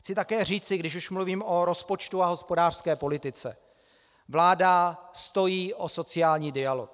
Chci také říci, když už mluvím o rozpočtu a hospodářské politice - vláda stojí o sociální dialog.